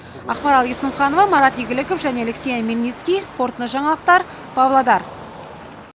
ақмарал есімханова марат игіліков және алексей омельницкий қорытынды жаңалықтар павлодар